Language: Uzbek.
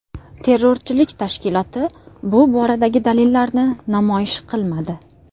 Terrorchilik tashkiloti bu boradagi dalillarini namoyish qilmadi.